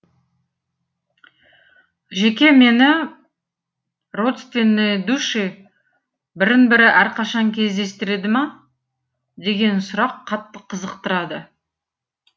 жеке мені родственные души бірін бірі әрқашан кездестіреді ма деген сұрақ қатты қызықтырады